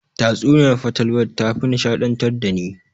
Tatsuniyar fatalwa tafi nishaɗantar dani.